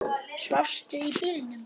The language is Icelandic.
Svafstu í bílnum?